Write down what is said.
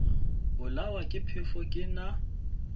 bolawa ke phefo ke na